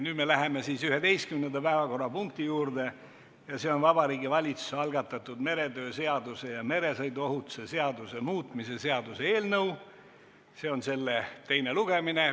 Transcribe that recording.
Nüüd läheme 11. päevakorrapunkti juurde ja see on Vabariigi Valitsuse algatatud meretöö seaduse ja meresõiduohutuse seaduse muutmise seaduse eelnõu 56 teine lugemine.